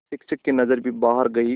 शिक्षक की नज़र भी बाहर गई और